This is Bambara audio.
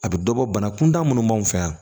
A bɛ dɔ bɔ banakun da minnu b'anw fɛ yan